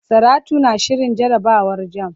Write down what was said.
Saratu na shirin jarabawar jamb.